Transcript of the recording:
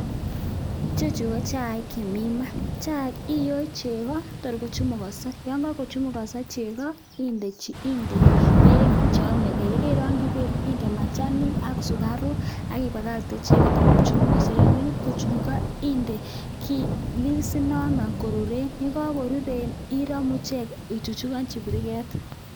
Ichechu ko chaik chemii maa, chaik iyoe chekoo tor kochumukoso, yoon kokochumukoso chekoo indee beek cheyomekee, yekeirongyi beek indee machanik ak sukaruk ak ibakakte icheket Kotor kochumukoso, yonekit kochumukoso indee kii liis inono kotuten, yekokoruren iromu ichek ichuchukonji biriket.